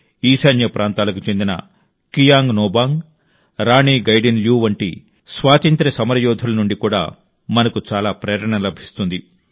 ఈశాన్య ప్రాంతాలకు చెందిన కియాంగ్ నోబాంగ్ రాణి గైడిన్ ల్యూ వంటి స్వాతంత్ర్య సమరయోధుల నుండి కూడా మనకు చాలా ప్రేరణ లభిస్తుంది